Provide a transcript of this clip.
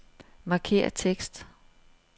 Markér tekst.